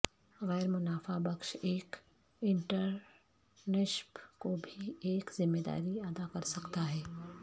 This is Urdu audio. غیر منافع بخش ایک انٹرنشپ کو بھی ایک ذمہ داری ادا کر سکتا ہے